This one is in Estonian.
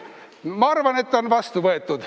Ma arvan, et otsus on vastu võetud.